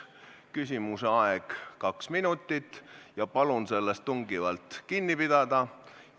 Küsimuse esitamise aeg on kaks minutit – palun tungivalt sellest kinni pidada!